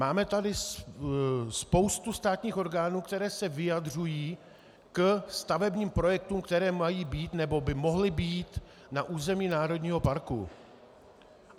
Máme tady spoustu státních orgánů, které se vyjadřují ke stavebních projektům, které mají být, nebo by mohly být na území národního parku.